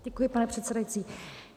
Děkuji, pane předsedající.